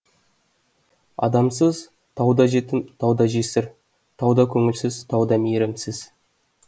адамсыз тау да жетім тау да жесір тау да көңілсіз тау да мейірімсіз